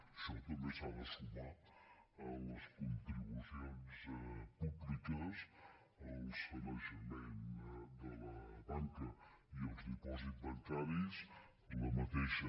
això també s’ha de sumar a les contribucions públiques al sanejament de la banca i els dipòsits bancaris la mateixa